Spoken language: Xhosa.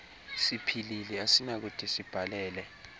siphilile asinakude sibhalele